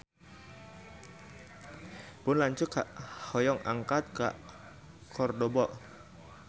Pun lanceuk hoyong angkat ka Kordoba